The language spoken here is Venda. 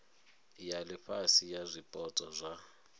ya ifhasi ya zwipotso zwa